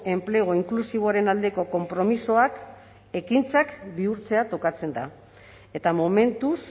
enplegu inklusiboaren aldeko konpromisoak ekintzak bihurtzea tokatzen da eta momentuz